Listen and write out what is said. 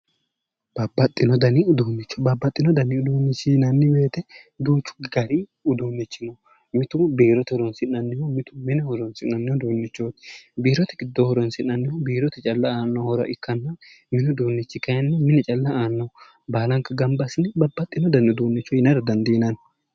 Babbaxxino dani uduunnicho babbaxxino dani uduunnicho yinayi woyte duuchu dani uduunnichino mitu biirote horonnsi'nanniho mitu mine horonsi'nanni uduunnichooti biirote giddo horonsi'nanni uduunnichi biirote calla aanno horo ikkanna mini uduunnichi kayinni mine calla aannoho baalanka gamba assine babbaxxino dani uduunnicho yinara dandiinanni